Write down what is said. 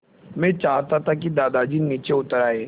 मैं चाहता था कि दादाजी नीचे उतर आएँ